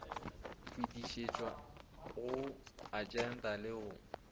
fetišetšwa go agente go le